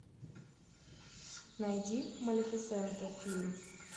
найди малефисента фильм